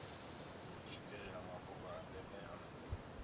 swikelela mafhungo a ndeme a